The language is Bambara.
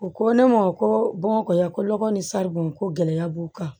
U ko ne ma ko bamako ya ko lɔgɔ ni saribɔn ko gɛlɛya b'u kan